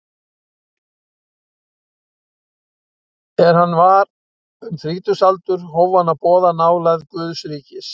Er hann var um þrítugsaldur hóf hann að boða nálægð Guðs ríkis.